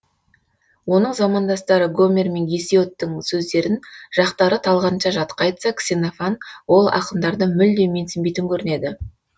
оның замандастары гомер мен гесиодтың сөздерін жақтары талғанша жатқа айтса ксенофан ол ақындарды мүлде менсінбейтін көрінеді